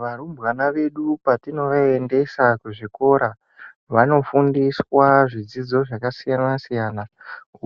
Varumbana vedu patinovaendesa kuzvikora vanofundiswa zvidzidzo zvakasiyana-siyana,